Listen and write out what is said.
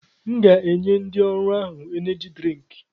M ga-enye ndị ọrụ ahụ Eneji drịnk